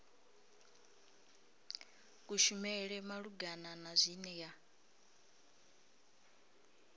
kushumele malugana na zwine ya